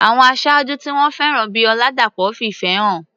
Àwọn aṣáájú tí wọ́n fẹ́ràn bíi Oladapo fi ìfẹ́ hàn.